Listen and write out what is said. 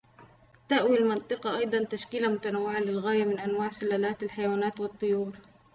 تأوي المنطقة أيضاً تشكيلة متنوعة للغاية من انواع سلالات الحيوانات والطيور